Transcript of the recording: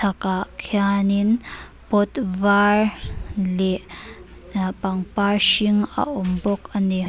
kah khianin pot vâr leh aa pangpar hring a awm bawk a ni.